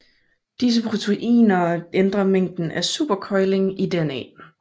Disse proteiner ændrer mængden af supercoiling i DNA